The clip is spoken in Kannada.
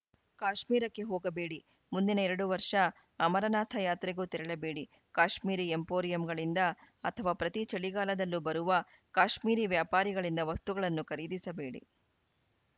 ಕಾಶ್ಮೀರಕ್ಕೆ ಹೋಗಬೇಡಿ ಮುಂದಿನ ಎರಡು ವರ್ಷ ಅಮರನಾಥ ಯಾತ್ರೆಗೂ ತೆರಳಬೇಡಿ ಕಾಶ್ಮೀರಿ ಎಂಪೋರಿಯಂಗಳಿಂದ ಅಥವಾ ಪ್ರತಿ ಚಳಿಗಾಲದಲ್ಲೂ ಬರುವ ಕಾಶ್ಮೀರಿ ವ್ಯಾಪಾರಿಗಳಿಂದ ವಸ್ತುಗಳನ್ನು ಖರೀದಿಸಬೇಡಿ